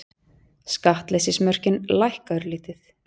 Skattleysismörkin lækka örlítið